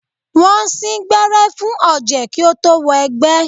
Wọ́n sín gbẹ́rẹ́ fún ọ̀jẹ̀ kí ó tó wọ egbẹ́.